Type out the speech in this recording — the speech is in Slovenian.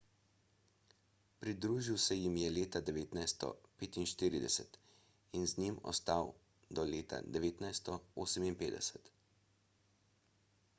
pridružil se jim je leta 1945 in z njimi ostal do leta 1958